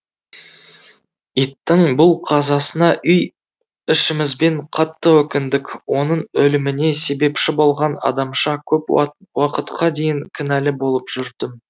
иттің бұл қазасына үй ішімізбен қатты өкіндік оның өліміне себепші болған адамша көп уақытқа дейін кінәлі болып жүрдім